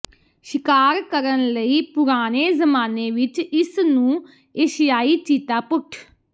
ਸ਼ਿਕਾਰ ਕਰਨ ਲਈ ਪੁਰਾਣੇ ਜ਼ਮਾਨੇ ਵਿਚ ਇਸ ਨੂੰ ਏਸ਼ੀਆਈ ਚੀਤਾ ਪੁੱਟ